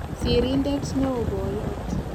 Sirindet neoo-poiyot